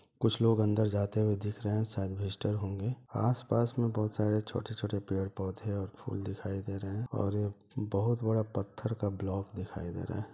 कुछ लोग अन्दर जाते हुए दिख रहे है शायद विजिटर होंगे आस-पास में बहुत सारे छोटे-छोटे पेड़-पौधे और फूल दिखाई दे रहे है और ये एक बहुत बड़ा पत्थर का ब्लोक दिखाई दे रहा है।